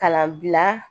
Kalanbila